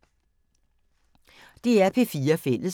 DR P4 Fælles